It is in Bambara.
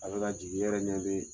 A bɛ ka jigi iyɛrɛ ɲɛ be